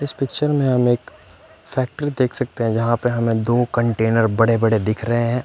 इस पिक्चर में हम एक फ़ैक्ट्री देख सकते हैं जहाँ पे हमे दो कंटेनर बड़े बड़े दिख रहे हैं।